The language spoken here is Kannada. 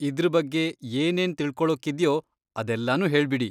ಇದ್ರ್ ಬಗ್ಗೆ ಏನೇನ್ ತಿಳ್ಕೊಳೋಕ್ಕಿದ್ಯೋ ಅದೆಲ್ಲಾನೂ ಹೇಳ್ಬಿಡಿ.